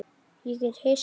Er ég Hissa?